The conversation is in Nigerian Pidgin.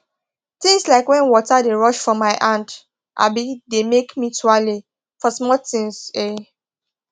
things like wen water dey rush for my hand um dey make me tuale for small things um